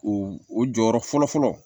O o jɔyɔrɔ fɔlɔ fɔlɔ